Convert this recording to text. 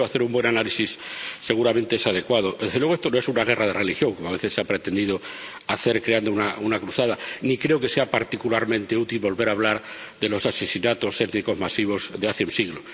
Por eso, hacer un buen análisis seguramente es adecuado. Desde luego, esto no es una guerra de religión, como a veces se ha pretendido hacer creer, creando una cruzada, ni creo que sea particularmente útil volver a hablar de los asesinatos étnicos masivos de hace un siglo.